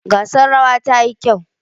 Gasar rawa ta yi kyau.